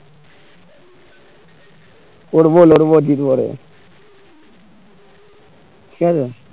করবো লড়বো জিতবো রে ঠিক আছে